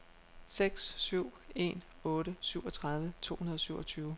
seks syv en otte syvogtredive to hundrede og syvogtyve